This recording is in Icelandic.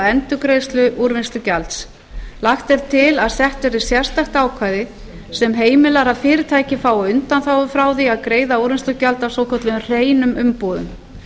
endurgreiðslu úrvinnslugjalds lagt er til að sett verði sérstakt ákvæði sem heimilar að fyrirtæki fái undanþágu frá því að fyrirtækið fái undanþágu afla því að greiða úrvinnslugjald af svokölluðum hreinum umbúðum